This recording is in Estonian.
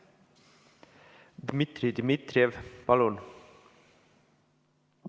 Dmitri Dmitrijev, palun!